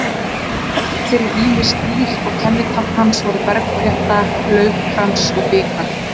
Hann gat breytt sér í ýmis dýr og kennitákn hans voru bergflétta, laufkrans og bikar.